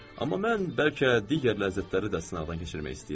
Amma mən bəlkə digər ləzzətləri də sınaqdan keçirmək istəyirəm.